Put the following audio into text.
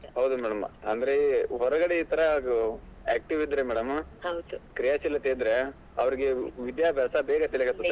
ಹೌದು madam ಅಂದ್ರೆ ಹೊರಗಡೆ ಈ ಥರ active ಇದ್ರೆ madam ಕ್ರಿಯಾಶೀಲತೆ ಇದ್ರೆ ಅವ್ರಿಗೆ ವಿದ್ಯಾಭ್ಯಾಸ ಬೇಗ ತಲೆಗೆ ಹತ್ತುತ್ತೆ madam .